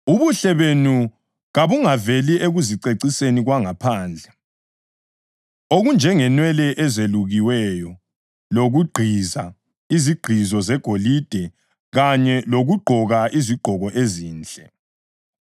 Ubuhle benu kabungaveli ekuziceciseni kwangaphandle, okunjengenwele ezelukiweyo lokugqiza izigqizo zegolide kanye lokugqoka izigqoko ezinhle.